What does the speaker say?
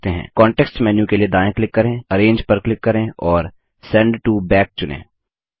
context menu के लिए दायाँ क्लिक करें अरेंज पर क्लिक करें और सेंड टो बैक चुनें